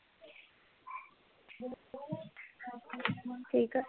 ਠੀਕ ਆ?